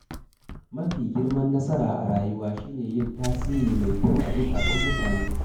Mafi girman nasara a rayuwa shine yin tasiri mai kyau a zuƙatan mutane.